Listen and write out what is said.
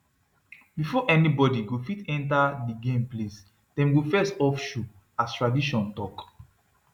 before anybody go fit enter the game place dem go first off shoe as tradition talk